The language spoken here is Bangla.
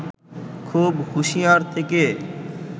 খুব হুঁশিয়ার থেকে